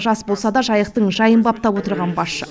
жас болса да жайықтың жайын баптап отырған басшы